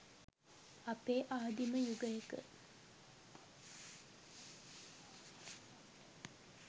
අපේ ආදීම යුගයක